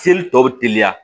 Seli tɔ bɛ teliya